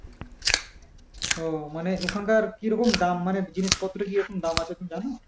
ও মানে ওখানকার কি রকম দাম মানে জিনিসপত্রের কিরকম দাম আছে কি জানো?